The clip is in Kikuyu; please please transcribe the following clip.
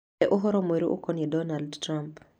He ũhoro mwerũ ũkoniĩ Donald Trump